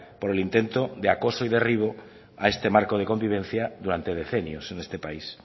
por el intento de acoso y derribo a este marco de convivencia durante decenios en este país